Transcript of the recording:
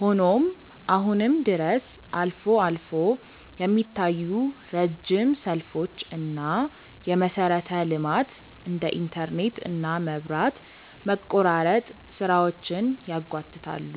ሆኖም አሁንም ድረስ አልፎ አልፎ የሚታዩ ረጅም ሰልፎች እና የመሰረተ ልማት (እንደ ኢንተርኔት እና መብራት) መቆራረጥ ስራዎችን ያጓትታሉ።